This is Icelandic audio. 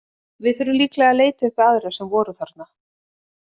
Við þurfum líklega að leita uppi aðra sem voru þarna.